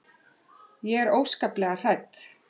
Ég er óskaplega hrædd.